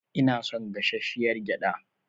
Ina son gashashshiyar gyada.